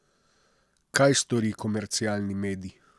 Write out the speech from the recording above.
Kaj stori komercialni medij?